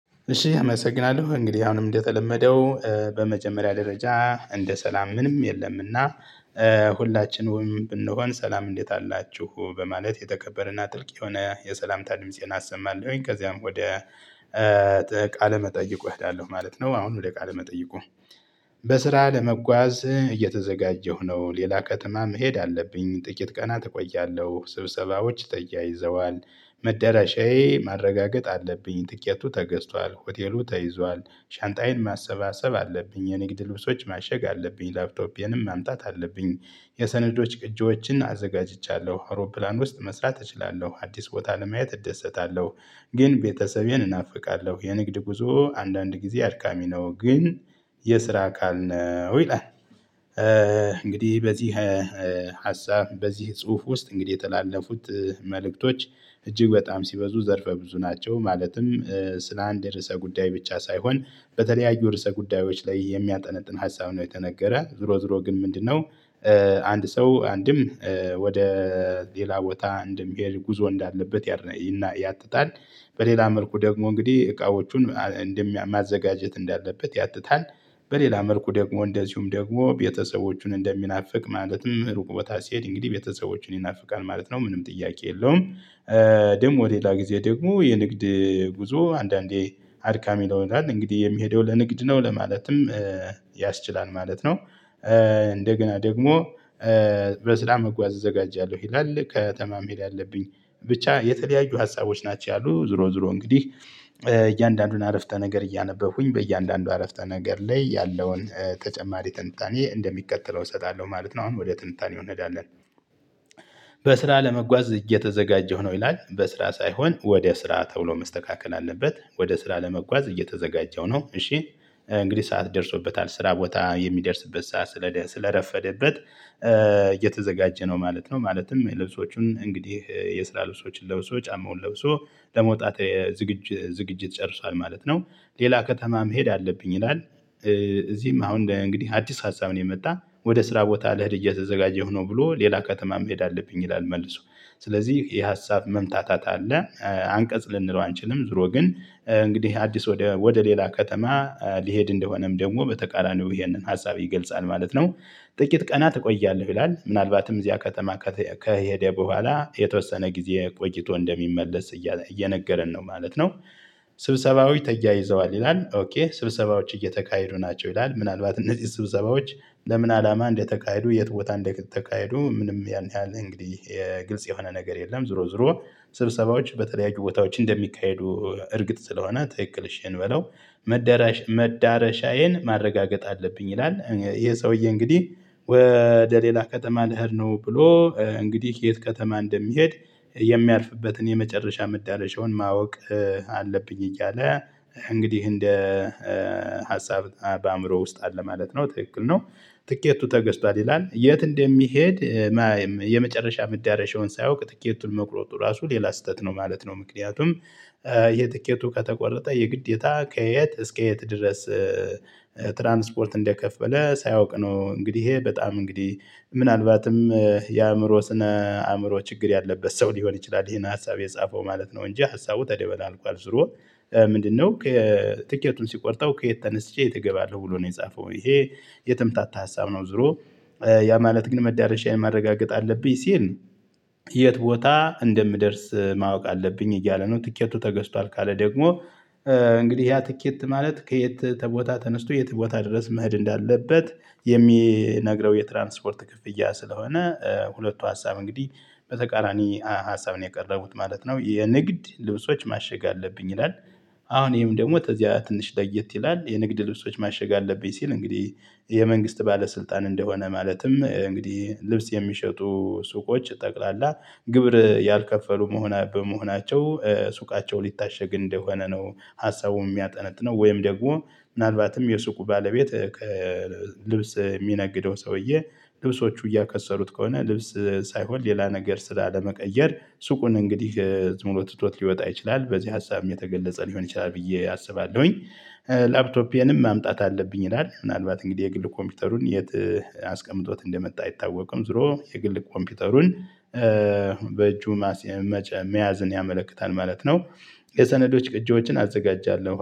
እሺ አመሰግናለሁ እንግዲህ አሁንም እንደተለመደው በመጀመሪያ ደረጃ እንደ ሰላም ምንም የለምና ሁላችንም ብንሆን ሰላም እንዴት አላችሁ በማለት የተከበረና ጥልቅ የሆነ የሰላምታ ድምፄን አሰማለሁኝ። ከዚያም ወደ ቃለ መጠይቁ እሄዳለሁ ማለት ነው። አሁን ወደ ቃለመጠይቁ በስራ ለመጓዝ እየተዘጋጀሁ ነው። ሌላ ከተማ መሄድ አለብኝ ጥቂት ቀናት እቆያለሁ። ስብሰባዎች ተያይዘዋል መደራሻዬ ማረጋገጥ አለብኝ። ትኬቱ ተገዝቷል ሆቴሉ ተይዟል። ሻንጣዬን ማሰባሰብ አለብኝ የንግድ ልብሶች ማሸግ አለብኝ ላፕቶፔንም ማምጣት አለብኝ። የሰነዶች ቅጂዎችን አዘጋጅቻለሁ አውሮፕላን ውስጥ መስራት እችላለሁ። አዲስ ቦታ ለማየት እደሰታለሁ። ግን ቤተሰቤን እናፍቃለሁ የንግድ ጉዞ አንዳንድ ጊዜ አድካሚ ነው። ግን የስራ አካል ነው ይላል። እንግዲህ በዚህ ሀሳብ በዚህ ጽሁፍ ውስጥ እንግዲህ የተላለፉት መልእክቶች እጅግ በጣም ሲበዙ ዘርፈ ብዙ ናቸው። ማለትም ስለ አንድ ርዕሰ ጉዳይ ብቻ ሳይሆን በተለያዩ ርዕሰ ጉዳዮች ላይ የሚያጠነጥን ሀሳብ ነው የተነገረው። ዙሮ ዙሮ ግን ምንድነው? አንድ ሰው አንድም ወደ ሌላ ቦታ እንደሚሄድ ጉዞ እንዳለበት ይና ያትታል። በሌላ መልኩ ደግሞ እንግዲህ እቃዎቹን እንደማዘጋጀት እንዳለበት ያትታል። በሌላ መልኩ ደግሞ እንደዚሁም ደግሞ ቤተሰቦቹን እንደሚናፍቅ ማለትም ሩቅ ቦታ ሲሄድ እንግዲህ ቤተሰቦቹን ይናፍቃል ማለት ነው። ምንም ጥያቄ የለውም። ደግሞ ሌላ ጊዜ ደግሞ የንግድ ጉዞ አንዳንዴ አድካሚ ለሆናል እንግዲህ የሚሄደው ለንግድ ነው። ለማለትም ያስችላል ማለት ነው። እንደገና ደግሞ በስራ መጓዝ እዘጋጃለሁ ይላል። ከተማ መሄድ ያለብኝ ብቻ የተለያዩ ሀሳቦች ናቸው። ያሉ ዙሮ ዙሮ እንግዲህ እያንዳንዱን አረፍተ ነገር እያነበብሁኝ በእያንዳንዱ አረፍተ ነገር ላይ ያለውን ተጨማሪ ትንታኔ እንደሚከተለው እሰጣለሁ ማለት ነው። አሁን ወደ ትንታኔው እንሄዳለን። በስራ ለመጓዝ እየተዘጋጀሁ ነው። ይላል በስራ ሳይሆን ወደ ስራ ተብሎ መስተካከል አለበት። ወደ ስራ ለመጓዝ እየተዘጋጀሁ ነው። እሺ እንግዲህ ሰዓት ደርሶበታል ስራ ቦታ የሚደርስበት ሰዓት ስለደ ስለረፈደበት እየተዘጋጀ ነው ማለት ነው። ማለትም ልብሶቹን እንግዲህ የስራ ልብሶችን ለብሶ ጫማውን ለብሶ ለመውጣት ዝግጅ ዝግጅት ጨርሷል ማለት ነው። ሌላ ከተማ መሄድ አለብኝ ይላል። እዚህም አሁን እንግዲህ አዲስ ሀሳብ ነው የመጣ ወደ ስራ ቦታ ልሄድ እየተዘጋጀሁ ነው ብሎ ሌላ ከተማ መሄድ አለብኝ ይላል። መልሶ ስለዚህ የሀሳብ መምታታት አለ አንቀጽ ልንለው አንችልም። ዙሮ ግን እንግዲህ አዲስ ወደ ወደ ሌላ ከተማ ሊሄድ እንደሆነም ደግሞ በተቃራኒው ይሄንን ሀሳብ ይገልጻል ማለት ነው። ጥቂት ቀናት እቆያለሁ ይላል። ምናልባትም እዚያ ከተማ ከተ ከሄደ በኋላ የተወሰነ ጊዜ ቆይቶ እንደሚመለስ እየነገረን ነው ማለት ነው። ስብሰባዊ ተያይዘዋል ይላል ኦኬ ስብሰባዎች እየተካሄዱ ናቸው ይላል። ምናልባት እነዚህ ስብሰባዎች ለምን? አላማ እንደተካሄዱ የት ቦታ እንደተካሄዱ ምንም ያን ያህል እንግዲህ የ ግልጽ የሆነ ነገር የለም። ዙሮ ዙሮ ስብሰባዎች በተለያዩ ቦታዎች እንደሚካሄዱ እርግጥ ስለሆነ ትክክል እሽ እንበለው። መደረሻ መዳረሻዬን ማረጋገጥ አለብኝ ይላል። ይሄ ሰውዬ እንግዲህ ወደ ሌላ ከተማ ልኅድ ነው ብሎ እንግዲህ የት ከተማ እንደሚሄድ? የሚያልፍበትን የመጨረሻ መዳረሻውን ማወቅ አለብኝ እያለ እንግዲህ እንደ ሀሳብ በአእምሮ ውስጥ አለ ማለት ነው ትክክል ነው። ትኬቱ ተገዝቷል ይላል የት እንደሚሄድ የመጨረሻ መዳረሻውን ሳያውቅ ትኬቱን መቁረጡ ራሱ ሌላ ስህተት ነው ማለት ነው። ምክንያቱም የትኬቱ ከተቆረጠ የግዴታ ከየት እስከ የት ድረስ? ትራንስፖርት እንደከፈለ ሳያውቅ ነው። እንግዲህ ይሄ በጣም እንግዲህ ምናልባትም የአእምሮ ስነ አእምሮ ችግር ያለበት ሰው ሊሆን ይችላል ይሄን ሀሳብ የጻፈው ማለት ነው። እንጂ ሀሳቡ ተደበላልቋል ዙሮ ምንድነው? ትኬቱን ሲቆርጠው ከየት ተነስቼ የት እገባለሁ ብሎ ነው የጻፈው ይሄ የተምታታ ሀሳብ ነው። ዙሮ ያ ማለት ግን መዳረሻዬን ማረጋገጥ አለብኝ ሲል ነው። የት ቦታ እንደምደርስ ማወቅ አለብኝ እያለ ነው። ትኬቱ ተገዝቷል ካለ ደግሞ እንግዲህ ያ ትኬት ማለት ከየት ተቦታ ተነስቶ የት ቦታ ድረስ መሄድ እንዳለበት። የሚነግረው የትራንስፖርት ክፍያ ስለሆነ ሁለቱ ሀሳብ እንግዲህ በተቃራኒ ሀሳብ ነው የቀረቡት ማለት ነው። የንግድ ልብሶች ማሸግ አለብኝ ይላል። አሁን ይሄም ደግሞ ተዛ ትንሽ ለየት ይላል የንግድ ልብሶች ማሸግ አለብኝ ሲል እንግዲህ የመንግስት ባለስልጣን እንደሆነ ማለትም እንግዲህ ልብስ የሚሸጡ ሱቆች ጠቅላላ ግብር ያልከፈሉ መሆና በመሆናቸው ሱቃቸው ሊታሸግ እንደሆነ ነው ሀሳቡን የሚያጠነጥነው። ወይም ደግሞ ምናልባትም የሱቁ ባለቤት ልብስ የሚነግደው ሰውዬ ልብሶቹ እያከሰሩት ከሆነ ልብስ ሳይሆን ሌላ ነገር ስላለመቀየር ሱቁን እንግዲህ ሙሉ ትቶት ሊወጣ ይችላል በዚህ ሀሳብም የተገለጸ ሊሆን ይችላል። ብዬ አስባለሁኝ። ላፕቶፔንም ማምጣት አለብኝ ይላል። ምናልባት እንግዲህ የግል ኮምፒውተሩን የት አስቀምጦት እንደመጣ አይታወቅም። ዙሮ የግል ኮምፒውተሩን በእጁ መያዝን ያመለክታል ማለት ነው። የሰነዶች ቅጂዎችን አዘጋጃለሁ